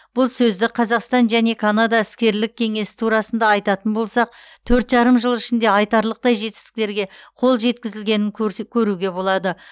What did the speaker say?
бұл сөзді қазақстан және канада іскерлік кеңесі турасында айтатын болсақ төрт жарым жыл ішінде айтарлықтай жетістіктерге қол жеткізілгенін көрсе көруге болады